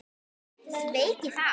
Sveik ég þá?